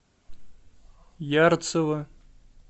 ярцево